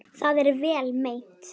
Það er vel meint.